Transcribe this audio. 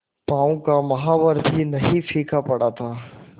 पांव का महावर पर भी नहीं फीका पड़ा था